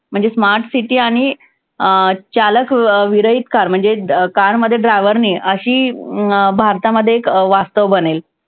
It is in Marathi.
म्हणजे smart city आणि अं चालक विरहित car म्हणजे car मध्ये driver नाही अशी अं भारतामध्ये एक वास्तव बनेल.